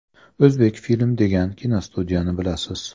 “O‘zbekfilm” degan kinostudiyani bilasiz.